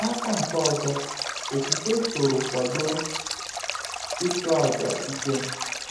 N’aka nke ọzọ, okwukwe soro kwado ịchụ aja Ikem.